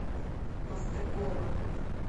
мастакова